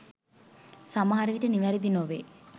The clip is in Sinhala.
සමහරවිට නිවැරදි නොවේ.